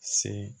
Se